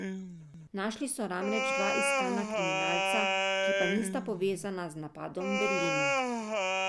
Našli so namreč dva iskana kriminalca, ki pa nista povezana z napadom v Berlinu.